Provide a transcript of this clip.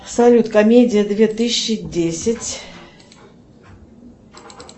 салют комедия две тысячи десять